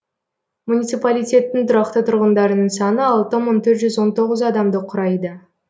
муниципалитеттің тұрақты тұрғындарының саны алты мың төрт жүз он тоғыз адамды құрайды